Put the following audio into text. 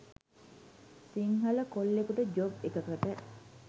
සිංහල කොල්ලෙකුට ජොබ් එකකට